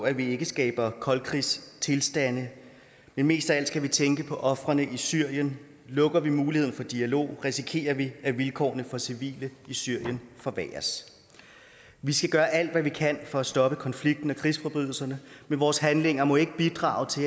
at vi ikke skaber koldkrigstilstande men mest af alt skal vi tænke på ofrene i syrien lukker vi muligheden for dialog risikerer vi at vilkårene for civile i syrien forværres vi skal gøre alt hvad vi kan for at stoppe konflikten og krigsforbrydelserne men vores handlinger må ikke bidrage til